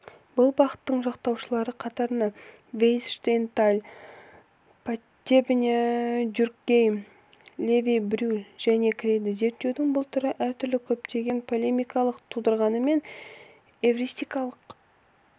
бұл бағыттың жақтаушылары қатарына вейц штейнталь потебня дюркгейм леви-брюль жане кіреді зерттеудің бұл түрі әртүрлі көптеген полемикалар тудырғанымен эвристикалық